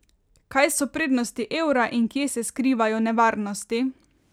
Kaj so prednosti evra in kje se skrivajo nevarnosti?